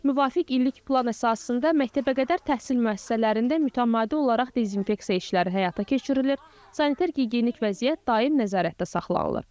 Müvafiq illik plan əsasında məktəbəqədər təhsil müəssisələrində mütəmadi olaraq dezinfeksiya işləri həyata keçirilir, sanitar-gigiyenik vəziyyət daim nəzarətdə saxlanılır.